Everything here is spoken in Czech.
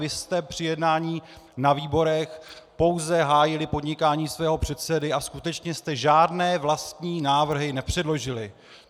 Vy jste při jednání na výborech pouze hájili podnikání svého předsedy a skutečně jste žádné vlastní návrhy nepředložili.